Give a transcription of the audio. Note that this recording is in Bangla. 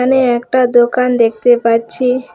আমি একটা দোকান দেখতে পাচ্ছি।